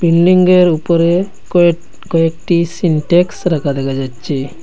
বিল্ডিংঙ্গের উপরে কয়েট কয়েকটি সিনটেক্স রাখা দেখা যাচ্ছে।